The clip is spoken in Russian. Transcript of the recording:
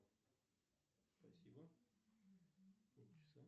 джой кто такой том харди